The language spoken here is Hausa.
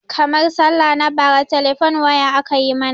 Karmar sallah na bara telefone waya aka yi mana